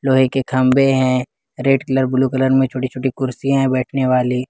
लोहे के खंबे हैं रेड कलर ब्लू कलर में छोटी छोटी कुर्सीया है बैठने वाली।